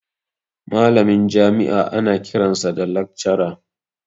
Malamin jami'a ana kiransa da lakcara